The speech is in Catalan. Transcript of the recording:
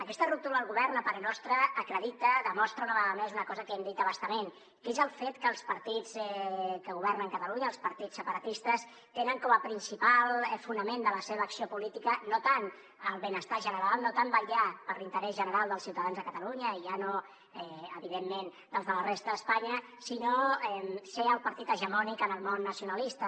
aquesta ruptura del govern a parer nostre acredita demostra una vegada més una cosa que hem dit a bastament que és el fet que els partits que governen catalunya els partits separatistes tenen com a principal fonament de la seva acció política no tant el benestar general no tant vetllar per l’interès general dels ciutadans de catalunya i ja no evidentment dels de la resta d’espanya sinó ser el partit hegemònic en el món nacionalista